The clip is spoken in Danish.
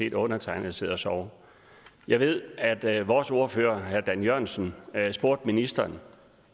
set undertegnede sidde og sove jeg ved at at vores ordfører herre dan jørgensen spurgte ministeren